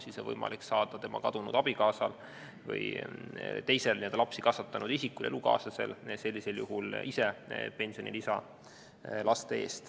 Siis on võimalik kadunu abikaasal või teisel lapsi kasvatanud isikul, näiteks elukaaslasel, saada pensionilisa laste eest.